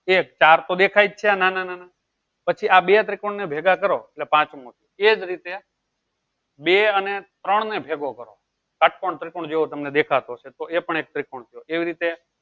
એક ચાર તો દેખાય જ છે નાના નાના પછી આ બે ત્રિકોણ ને ભેગા કરો એટલે પાંચમો એ જ રીતે બે અને ત્રણ ને ભેગો કરો શ્ષ્ટ્કોણ ત્રિકોણ જેવો તમને દેખાતો હશે તો એ પણ એક ત્રિકોણ છે એવી રીતે